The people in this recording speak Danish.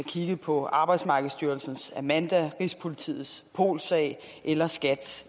kigget på arbejdsmarkedsstyrelsens amanda rigspolitiets polsag eller skats